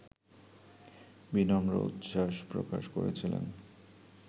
বিনম্র উচ্ছ্বাস প্রকাশ করেছিলেন